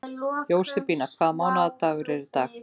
Jósebína, hvaða mánaðardagur er í dag?